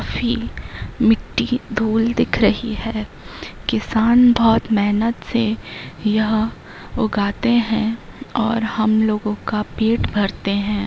मिट्टी धूल दिख रही है किसान बहुत मेहनत से यह उगाते है और हम लोगो का पेट भरते हैं।